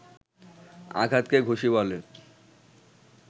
আঘাতকে ঘুষি বলে